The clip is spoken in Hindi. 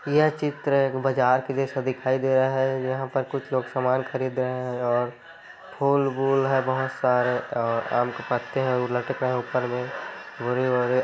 यह चित्र एक बाजार के जैसा दिखाई दे रहा है यहाँ पर कुछ लोग सामान खरीद रहे हैं और फूल-वूल है बहुत सारे और आम के पत्ते हैं वो लटका है ऊपर में बोरी ओरी--